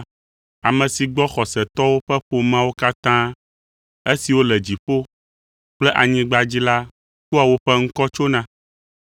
ame si gbɔ xɔsetɔwo ƒe ƒomeawo katã, esiwo le dziƒo kple anyigba dzi la kpɔa woƒe ŋkɔ tsona.